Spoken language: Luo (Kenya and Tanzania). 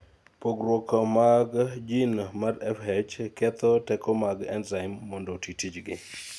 pogruk mag jin mar FH ketho teko mag enzim mondo oti tijgi